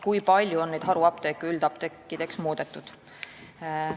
Kui palju on neid haruapteeke üldapteekideks muudetud?